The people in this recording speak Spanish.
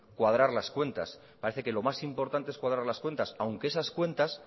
cuadrar las cuentas parece que lo más importante es cuadrar las cuentas aunque esas cuentas